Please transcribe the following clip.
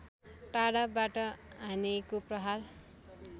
टाढाबाट हानेको प्रहार